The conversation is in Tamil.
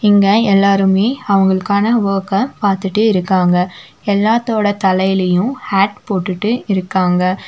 இங்க எல்லாருமே அவங்களுக்கான வொர்க்க பார்த்துட்டே இருக்காங்க எல்லாத்தோட தலையிலயும் ஹாட் போட்டுட்டு இருக்காங்க.